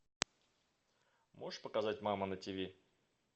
можешь показать мама на тв